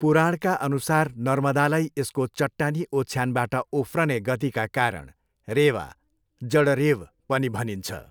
पुराणका अनुसार नर्मदालाई यसको चट्टानी ओछ्यानबाट उफ्रने गतिका कारण रेवा, जड ''रेव'' बाट, पनि भनिन्छ।